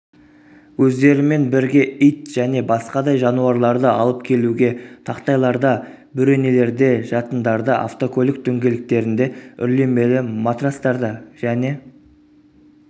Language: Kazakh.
өздерімен бірге ит және басқадай жануарларды алып келуге тақтайларда бөренелерде жатындарда автокөлік дөңгелектерінде үрлемелі матрацтарда және